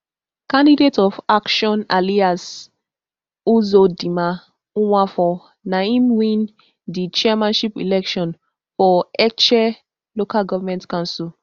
candidate of action alliance uzodinma nwafor na im win di chairmanship election for etche local government council